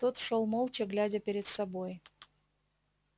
тот шёл молча глядя перед собой